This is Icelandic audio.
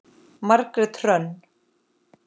Margrét Hrönn.